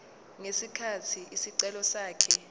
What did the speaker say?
ngesikhathi isicelo sakhe